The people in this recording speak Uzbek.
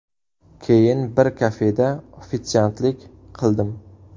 Keyin bir kafeda ofitsiantlik qildim.